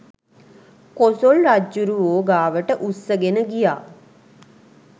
කොසොල් රජ්ජුරුවෝ ගාවට උස්සගෙන ගියා